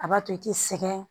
A b'a to i ti sɛgɛn